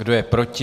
Kdo je proti?